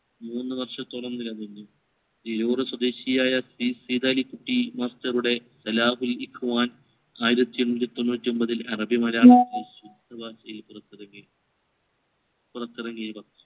moon വർഷത്തോളം നിലനിന്നു തിരൂർ സ്വദേശിയായ സൈദാലികുട്ടി master ഉടെ അലാഹുൽ ഇഖ്‌വാൻ പുറത്തിറക്കി പുറത്തിറങ്ങി ഇവ